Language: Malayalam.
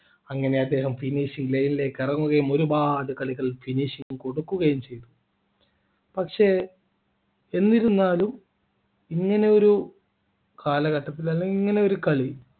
അങ്ങനെ അദ്ദേഹം finishing line ലേക്ക് ഇറങ്ങുകയും ഒരുപാട് കളികൾ finish ചെയ്തു കൊടുക്കുകയും ചെയ്തു പക്ഷേ എന്നിരുന്നാലും ഇങ്ങനെ ഒരു കാലഘട്ടത്തിൽ അല്ലെങ്കിൽ ഇങ്ങനെയൊരു കളി